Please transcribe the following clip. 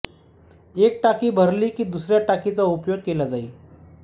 एक टाकी भरली की दुसऱ्या टाकीचा उपयोग केला जाई